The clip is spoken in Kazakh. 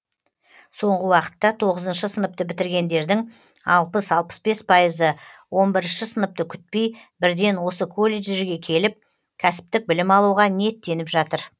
соңғы уақытта тоғызыншы сыныпты бітіргендердің алпыс алпыс бес пайызы он бірінші сыныпты күтпей бірден осы колледждерге келіп кәсіптік білім алуға ниеттеніп жатыр